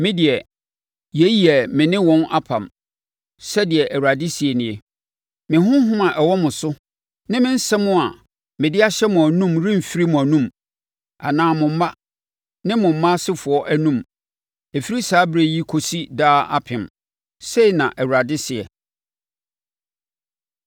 “Medeɛ yei yɛ me ne wɔn apam,” sɛdeɛ Awurade seɛ nie. “Me Honhom a ɔwɔ mo so, ne me nsɛm a mede ahyɛ mo anom remfiri mo anom, anaa mo mma, ne mo mma asefoɔ anom, ɛfiri saa ɛberɛ yi kɔsi daa apem,” sei na Awurade seɛ.